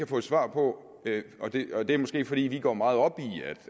fået svar på og det er måske fordi vi går meget op i